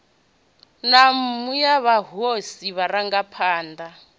na nnu ya mahosi vharangaphana